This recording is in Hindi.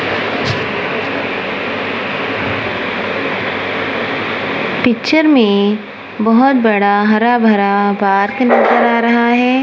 पिक्चर में बहोत बड़ा हरा भरा पार्क नजर आ रहा है।